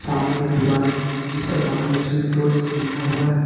सामने एक दुकान है जिस पर महालक्ष्मी फ्रूट्स लिखा हुआ है।